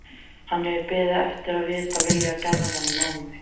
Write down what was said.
Hann hefur beðið eftir að vita vilja Gerðar í málinu.